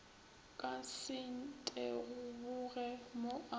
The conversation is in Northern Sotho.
ka se nteboge mo a